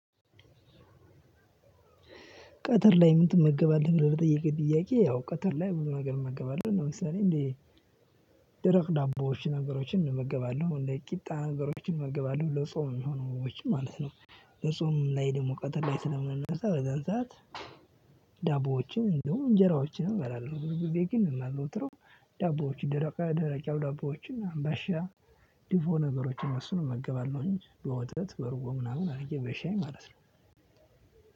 ቀትር ላይ ምን ትመገባለህ ብለህ ለጠየከኝ ጥያቄ? ያው ቀትር ላይ ብዙ ነገር እመገባለሁ ለምሳሌ እንደ ደረቅ ዳቦዎችን ነገሮችን እንመገባለሁ እንደ ቂጣ ነገሮችን እመገባለሁ ለጾም እሚሆኑ ምግቦችን ማለት ነው። ለጾም ላይ ደግሞ ቀትር ላይ ስለምነሳ በዛን ሰዓት ዳቦዎችን እንዲሁም እንጀራዎችንም እበላለሁ። ብዙ ጊዜ ግን እማዘወትረው ዳቦዎች ደረቅ ደረቅ ያሉ ዳቦዎችን አምባሻ ዲፎ ነገሮችን እሱን እመገባለሁኝ። በወተት በእርጎ ምናምን አድርጌ በሻይ ማለት ነው።